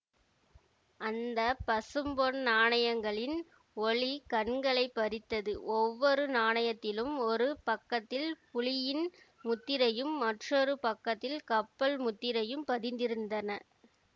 அந்த பசும்பொன் நாணயங்களின் ஒளி கண்களை பறித்தது ஒவ்வொரு நாணயத்திலும் ஒரு பக்கத்தில் புலியின் முத்திரையும் மற்றொரு பக்கத்தில் கப்பல் முத்திரையும் பதித்திருந்தன